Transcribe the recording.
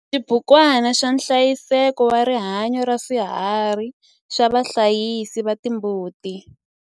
XIBUKWANA XA NHLAYISEKO WA RIHANYO RA SWIHARHI XA VAHLAYISI VA TIMBUTI.